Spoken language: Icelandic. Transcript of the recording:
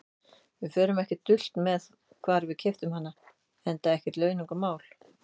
Við fórum ekkert dult með hvar við keyptum hana, enda ekkert launungarmál.